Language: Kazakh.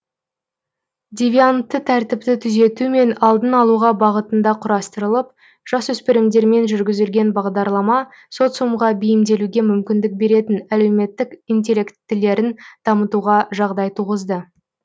девиантты тәртіпті түзету мен алдын алуға бағытында құрастырылып жасөспірімдермен жүргізілген бағдарлама социумға бейімделуге мүмкіндік беретін әлеуметтік интеллектілерін дамытуға жағдай туғызды